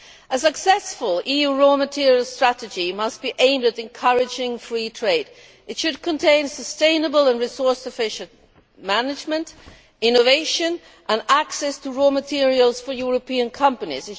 A successful EU raw materials strategy must be aimed at encouraging free trade. It should contain sustainable and resource efficient management, innovation and access to raw materials for European companies.